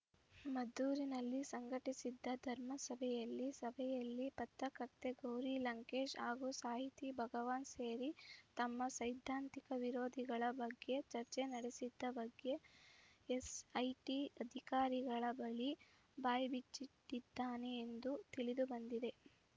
ಮದ್ದೂರಿನಲ್ಲಿ ಸಂಘಟಿಸಿದ್ದ ಧರ್ಮಸಭೆಯಲ್ಲಿ ಸಭೆಯಲ್ಲಿ ಪತ್ರಕರ್ತೆ ಗೌರಿ ಲಂಕೇಶ್‌ ಹಾಗೂ ಸಾಹಿತಿ ಭಗವಾನ್‌ ಸೇರಿ ತಮ್ಮ ಸೈದ್ಧಾಂತಿಕ ವಿರೋಧಿಗಳ ಬಗ್ಗೆ ಚರ್ಚೆ ನಡೆಸಿದ್ದ ಬಗ್ಗೆ ಎಸ್‌ಐಟಿ ಅಧಿಕಾರಿಗಳ ಬಳಿ ಬಾಯಿ ಬಿಚ್ಚಿಟ್ಟಿದ್ದಾನೆ ಎಂದು ತಿಳಿದು ಬಂದಿದೆ